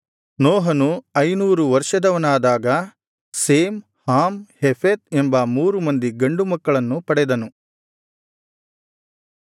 ನೋಹನು ಐನೂರು ವರ್ಷದವನಾದಾಗ Shem Ham Japheth ಎಂಬ ಮೂರು ಮಂದಿ ಗಂಡು ಮಕ್ಕಳನ್ನು ಪಡೆದನು